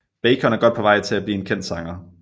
Bacon er godt på vej til at blive en kendt sanger